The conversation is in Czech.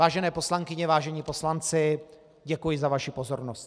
Vážené poslankyně, vážení poslanci, děkuji za vaši pozornost.